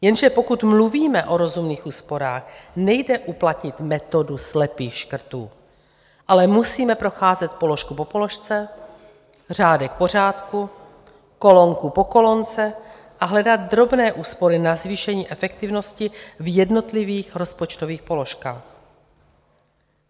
Jenže pokud mluvíme o rozumných úsporách, nejde uplatnit metodu slepých škrtů, ale musíme procházet položku po položce, řádek po řádku, kolonku po kolonce a hledat drobné úspory na zvýšení efektivnosti v jednotlivých rozpočtových položkách.